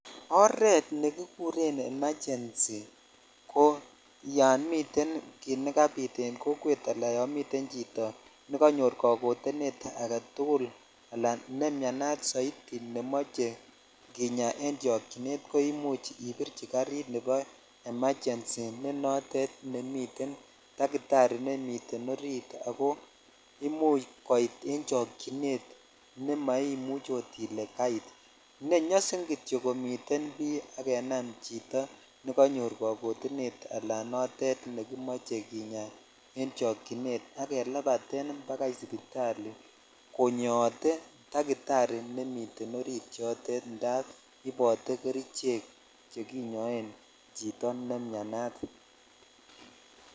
oreet negigureen emergency ko yomiten kiit negabiit en kokwet alan yoon miten chito negonyoor kagoteneet agetugul alaan nemyanaat soiti nemoche kenyaa en chokyineet koimuch koimuch ibirchi karrit nebo emergency ne noteet nemiten takitari nemiteen oriit agoo imuch koit en chokyineet nemaimuche oot ile kaait nenyosin kityo komiteen bii ak kenam chito neganyoor kagotineet anan ko noteet nemoche kinyaa en chokyineet, ak kelabateen agoi sipitali konyoote takitari nemiten oriit yoteet ndaab ibote kerichek chekinyoen chito nemnyanaat.